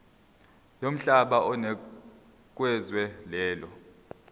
yomhlaba onikezwe lelo